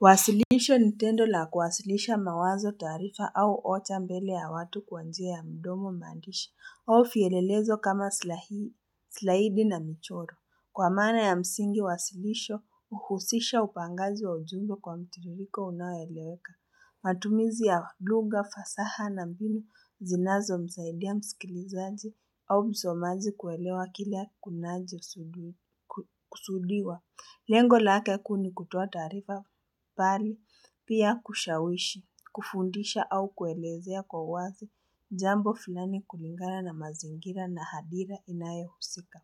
Wasilisho Nitendo la kuwasilisha mawazo taarifa au ocha mbele ya watu kwa njia ya mdomo maandishi, au elelezo kama silahidi na michoro. Kwa maana ya msingi, wasilisho uhusisha upangazi wa ujumbe kwa mtiririko unaeleweka. Matumizi ya lugha, fasaha na mbinu, zinazo msaidia msikilizaji au msomaji kuelewa kila kunaji usudiwa. Lengo lake kuni kutoa taarifa pari, pia kushawishi, kufundisha au kuelezea kwa wazi jambo filani kulingana na mazingira na hadira inaye husika.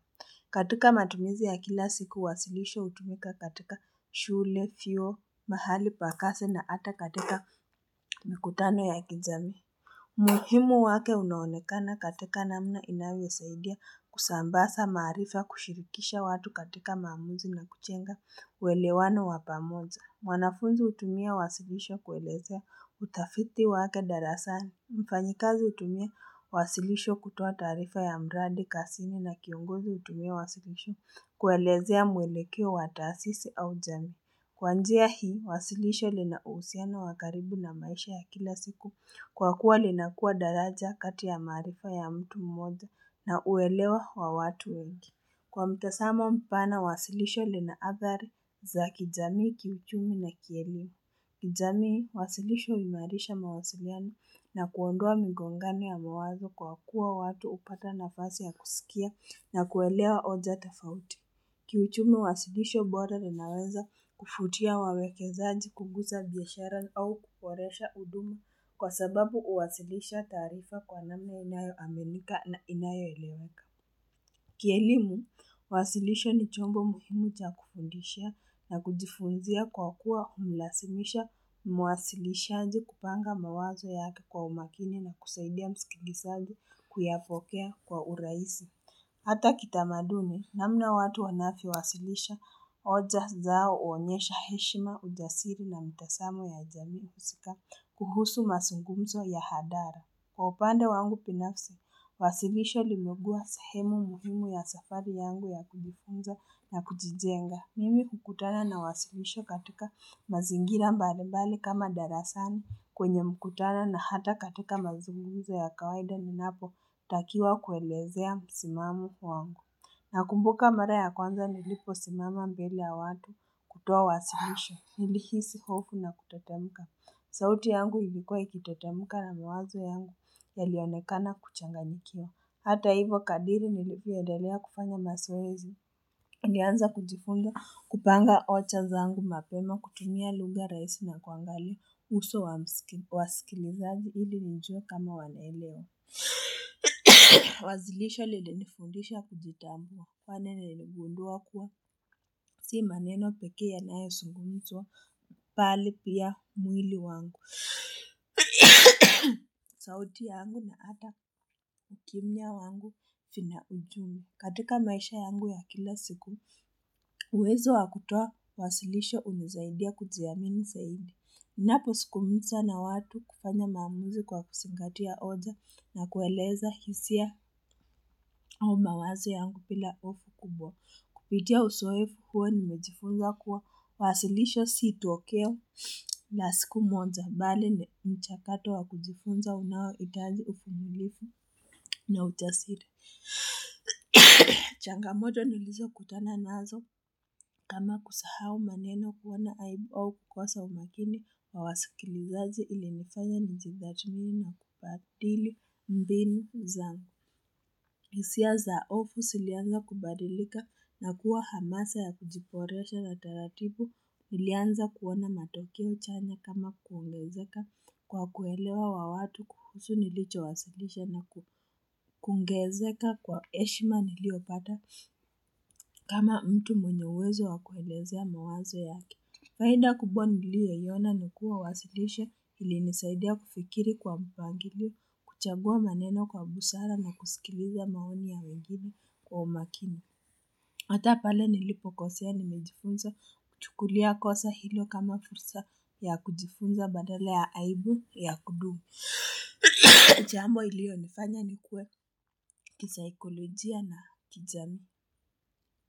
Katika matumizi ya kila siku, wasilisha utumika katika shule, fio, mahali pa kasi na hata katika mikutano ya kijamii. Muhimu wake unaonekana katika namna inawasaidia kusambasa maarifa kushirikisha watu katika maamuzi na kuchenga welewano wa pamoja. Mwanafunzi utumia wasilisho kuelezea utafiti wake darasani. Mfanyikazi utumia wasilisho kutoa taarifa ya mradi kazini na kiongozi utumia wasilisho kuelezea mwelekeo wa taasisi au jamii. Kwa njia hii, wasilisho linausiana wakaribu na maisha ya kila siku kwa kuwa linakua daraja katia maarifa ya mtu mmoja na uelewa wa watu wengi. Kwa mtasamo mpana, wasilisho linaathari za kijamii, kiuchumi na kielia. Kijamii, wasilisho imarisha mawasiliana na kuondoa migongano ya mawazo kwa kuwa watu upate nafasi ya kusikia na kuelewa oja tafauti. Kiuchumi wasilisho boda linaweza kufutia wawekezaji kugusa biashara au kuporesha huduma kwa sababu uwasilisha tarifa kwa namna inayo aminika na inayo eleweka Kielimu, wasilisho ni chongo muhimu cha kufundisha na kujifunzia kwa kuwa umlasimisha mawasilishaji kupanga mawazo yake kwa umakini na kusaidia msikilisaji kuyafokea kwa uraisi Hata kitamaduni namna watu wanafyo wasilisha oja zao uonyesha heshima ujasiri na mtesamo ya jamii kusika kuhusu mazungumzo ya hadara. Kwa upande wangu pinafsi, wasilisho limekua sahemu muhimu ya safari yangu ya kujifunza na kujijenga. Mimi kukutana na wasilisho katika mazingira mbalimbali kama darasani kwenye mkutano na hata katika mazungumzo ya kawaida ninapo takiwa kuelezea simamo wangu. Na kumbuka mara ya kwanza nilipo simama mbele ya watu kutoa wasilisho, nilihisi hofu na kutetemuka. Sauti yangu hivikua ikitetemuka na miwazo yangu yalionekana kuchanganyikia. Hata hivyo kadiri nilipoedalea kupanga mazoeezi, nianze kujifunza kupanga oja zangu mapema, kukimbia lugha raisi na kuangalia uso wa sikiliza ili nijue kama wanaelewa. Wazilisho lilinifundisha kujitambua, pale niligundua kuwa, si maneno peke yanayo zunguzwa, pali pia mwili wangu. Sauti yangu na ata kimia wangu fina ujumi katika maisha yangu ya kila siku uwezo wakutoa wasilisho unizaidia kujiamini zaidi Napo sikumiza na watu kufanya maamuzi kwa kuzingatia oja na kueleza hisia umawazo yangu pila ofu kubwa Kupitia uzoefu huo nimejifunza kuwa wasilisho si tokeo la siku moja bali ni mchakato wa kujifunza unaoitaji ufumilifu na ujasiri. Changamoto nilizo kutana nazo kama kusahau maneno kuona aibu au kukosa umakini wa wasikilizazi ilinifaya nijitattimi na kubadili mbinu zangu. Nisia za ofu silianza kubadilika na kuwa hamasa ya kujiboresha la taratibu nilianza kuona matokeo chanya kama kuulezeka kwa kuelewa wa watu kuhusu nilicho wasilisho na kungezeka kwa heshima niliopata kama mtu mwenye uwezo wa kuelezea mawazo yake. Faida kubwa niliyoiona nikuwa wasilishe ili nisaidia kufikiri kwa mpangilio kuchagua maneno kwa busara na kusikiliza maoni ya wengine kwa umakini Hata pale nilipo kosea nimejifunza kutukulia kosa hilo kama fursa ya kujifunza badala ya aibu ya kudu Chambo ilio nifanya nikuwe kisaikolojia na kijamii.